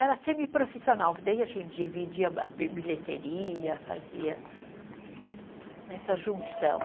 Era semiprofissional, que daí a gente dividia bilheteria, fazia essa junção.